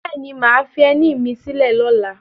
Bẹ́ẹ̀ ni, mà á fi ẹní mi sílẹ̀ lọ́la